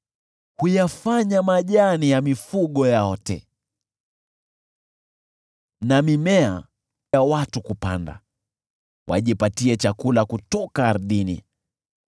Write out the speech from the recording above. Huyafanya majani ya mifugo yaote, na mimea kwa watu kulima, wajipatie chakula kutoka ardhini: